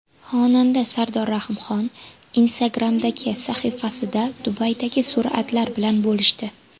Xonanda Sardor Rahimxon Instagram’dagi sahifasida Dubaydagi suratlari bilan bo‘lishdi.